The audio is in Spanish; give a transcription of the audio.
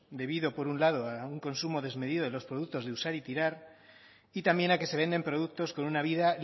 debido por un lado a un consumo desmedido de los productos de usar y tirar y también a que se venden productos con una vida